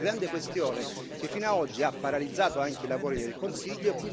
Questa è una grande questione che fino a oggi ha paralizzato anche i lavori del Consiglio.